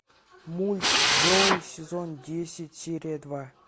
мульт джоуи сезон десять серия два